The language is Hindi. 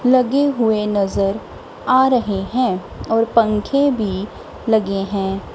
लगे हुए नजर आ रहे हैं और पंखे भी लगे हैं।